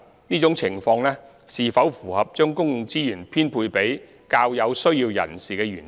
這種情況是否符合將公共資源編配給較有需要人士的原則？